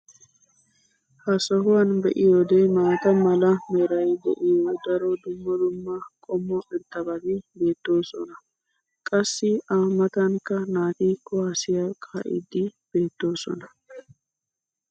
ha sohuwan be'iyoode maata mala meray de'iyo daro dumma dumma qommo irxxabati beetoosona. qassi a matankka naati kuwaassiya kaa'iidi beetoosona.